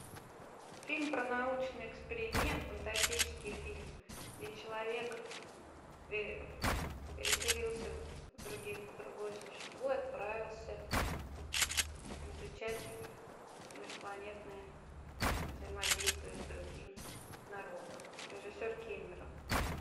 фильм про научный эксперимент фантастический фильм где человек переселился в другое существо и отправился изучать межпланетные взаимодействия с другим народом режиссер кэмерон